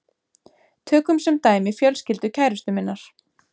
Tökum sem dæmi fjölskyldu kærustu minnar.